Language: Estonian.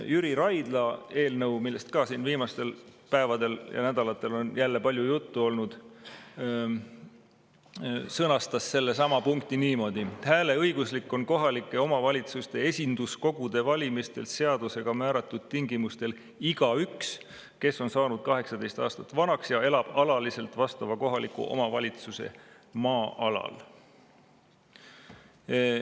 " Jüri Raidla eelnõus, millest ka on viimastel päevadel ja nädalatel jälle palju juttu olnud, oli seesama punkt sõnastatud niimoodi: "Hääleõiguslik on kohalike omavalitsuste esinduskogude valimistel seadusega määratud tingimustel igaüks, kes on saanud 18 aastat vanaks ja elab alaliselt vastava kohaliku omavalitsuse maa-alal.